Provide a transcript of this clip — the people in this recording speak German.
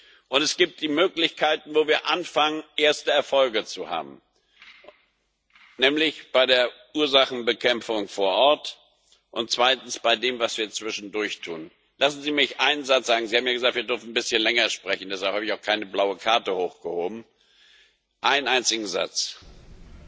Und es gibt die Möglichkeiten, wo wir anfangen, erste Erfolge zu haben Nämlich bei der Ursachenbekämpfung vor Ort sowie bei dem, was wir zwischendurch tun. Lassen Sie mich einen Satz sagen, Sie haben ja gesagt, wir dürfen ein bisschen länger sprechen, deshalb habe ich auch keine blaue Karte hochgehoben einen einzigen Satz Bei